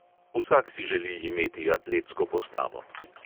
Vsak si želi imeti atletsko postavo.